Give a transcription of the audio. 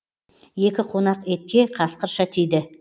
екі қонақ етке қасқырша тиді